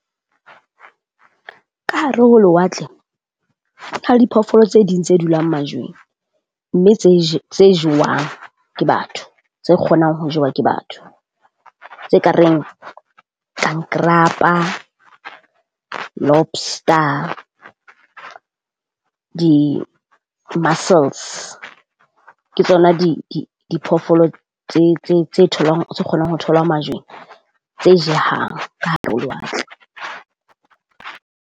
Ka hare ho lewatle diphoofolo tse ding tse dulang majweng, mme tse tse jewang ke batho tse kgonang ho jewa ke batho. Tse kareng kankarapa, lobster di muscles ke tsona di di diphoofolo tse tse tse tholwang tse kgonang ho tholwa majweng tse jehang ka hare ho lewatle.